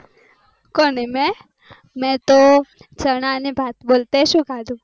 કોને મેં? મેં તો ચણા ને ભાત બોલ તે શું ખાધું?